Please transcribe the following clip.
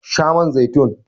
Sha man zaitun!